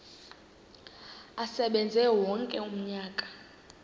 asebenze wonke umnyaka